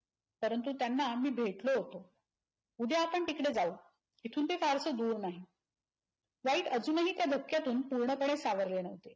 परंतु त्यांना आम्ही भेटलो होतो. उद्या आपण तिकडे जाऊ. इथून ते फारस दूर नाही. वाईट अजूनही त्या धक्यातून पूर्णपणे सावरले नव्हते.